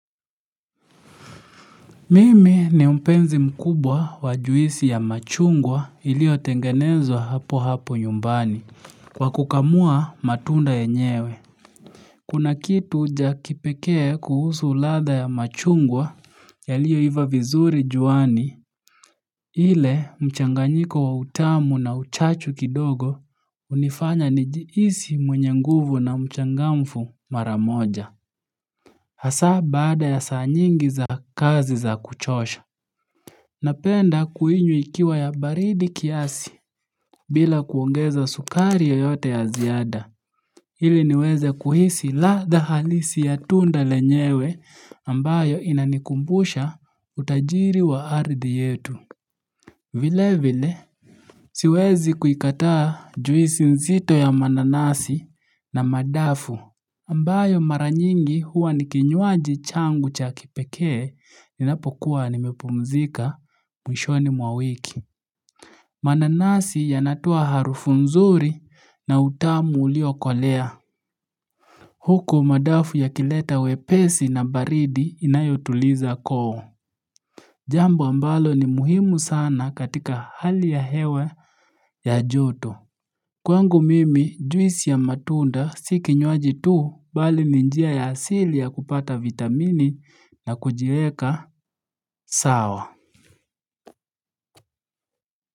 Mimi ni mpenzi mkubwa wa juisi ya machungwa ilio tengenezwa hapo hapo nyumbani, kwa kukamua matunda yenyewe. Kuna kitu cha kipekee kuhusu ladha ya machungwa yaliyo iva vizuri juani, ile mchanganyiko wa utamu na uchachu kidogo unifanya nijiisi mwenye nguvu na mchangamfu maramoja. Hasa baada ya saa nyingi za kazi za kuchosha. Napenda kuhinyu ikiwa ya baridi kiasi bila kuongeza sukari yoyote ya ziada. Hili niweze kuhisi ladha halisi ya tunda lenyewe ambayo inanikumbusha utajiri wa ardhi yetu. Vile vile siwezi kuikataa juisi nzito ya mananasi na madafu. Ambayo mara nyingi huwa ni kinywaji changu cha kipekee ninapokuwa nimepumzika mwishoni mwa wiki. Mananasi yanatua harufu nzuri na utamu uliokolea. Huko madafu yakileta wepesi na baridi inayotuliza koo. Jambo ambalo ni muhimu sana katika hali ya hewe ya joto. Kwangu mimi juisi ya matunda si kinywaji tu bali ni njia ya asili ya kupata vitamini na kujieka sawa.